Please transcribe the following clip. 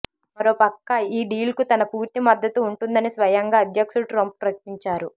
మరోపక్క ఈ డీల్కు తన పూర్తి మద్దతు ఉంటుందని స్వయంగా అధ్యక్షుడు ట్రంప్ ప్రకటించారు